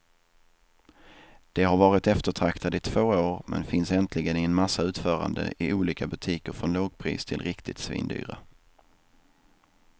De har varit eftertraktade i två år, men finns äntligen i en massa utföranden i olika butiker från lågpris till riktigt svindyra.